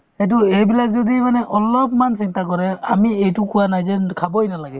এইটো এইবিলাক যদি মানে অলপমান চিন্তা কৰে আমি এইটো কোৱা নাই যে খাবই নালাগে